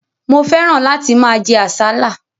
Mo fẹ́ràn láti máa jẹ àsálà.